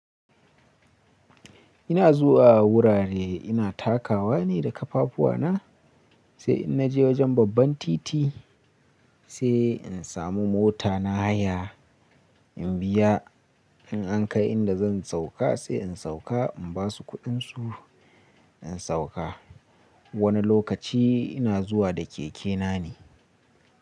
Ina zuwa wurare ina takawa ne da ƙafafuwa na, sai in naje wajen babban titi sai in samu mota na haya in biya. In an kai inda zan sauka sai in sauka in basu kuɗinsu. In sauka wani lokaci ina zuwa da keke na ne.